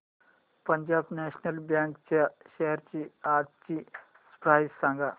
Punjab national bank च्या shares आजची price सांगा